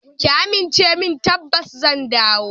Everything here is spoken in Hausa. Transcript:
Ki amince min tabbas zan dawo.